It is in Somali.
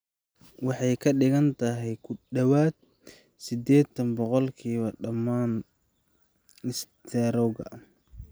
Waxay ka dhigan tahay ku dhawaad ​​sideetan boqolkiiba dhammaan istaroogga.